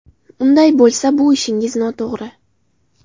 Unday bo‘lsa, bu ishingiz noto‘g‘ri.